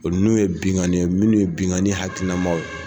O n'u ye benkanni ye ,munnu ye benkanni hakilinama ye.